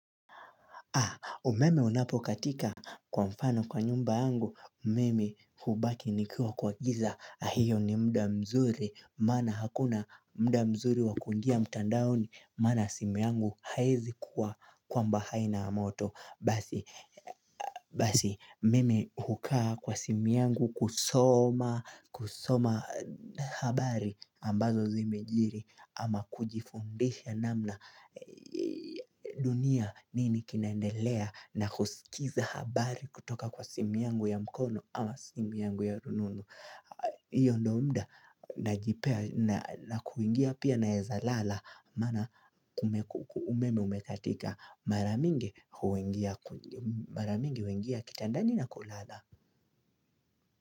Umeme unapo katika kwa mfano kwa nyumba yangu umeme hubaki nikiwa kwa giza na hiyo ni mda mzuri maana hakuna mda mzuri wa kungia mtandaoni mara simi yangu haiwezi kuwa kwamba haina amoto basi mimi hukaa kwa simi yangu kusoma habari ambazo zimejiri ama kujifundisha namna dunia nini kinaendelea na kusikiza habari kutoka kwa simi yangu ya mkono ama simi yangu ya rununu hiyo ndo mda na kuingia pia naeza lala Mana umeme umekatika maramingi huingia kitandani na kulala.